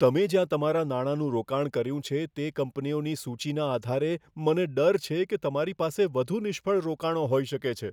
તમે જ્યાં તમારા નાણાંનું રોકાણ કર્યું છે તે કંપનીઓની સૂચિના આધારે, મને ડર છે કે તમારી પાસે વધુ નિષ્ફળ રોકાણો હોઈ શકે છે.